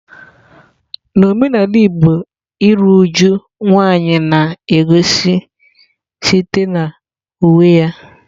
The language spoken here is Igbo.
N'omenala igbo iru uju nwanyị na-egosi site na uwe ya.